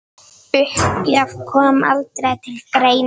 Uppgjöf kom aldrei til greina.